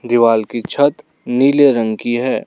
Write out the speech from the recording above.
दीवाल की छत नीले रंग की है।